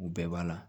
U bɛɛ b'a la